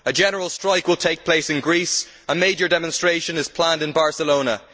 A general strike will take place in Greece and a major demonstration is planned in Barcelona.